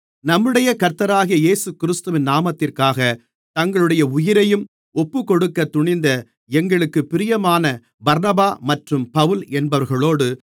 நம்முடைய கர்த்தராகிய இயேசுகிறிஸ்துவின் நாமத்திற்காகத் தங்களுடைய உயிரையும் ஒப்புக்கொடுக்கத் துணிந்த எங்களுக்குப் பிரியமான பர்னபா மற்றும் பவுல் என்பவர்களோடு